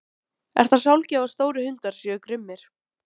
Hersir: Er það sjálfgefið að stórir hundar séu grimmir?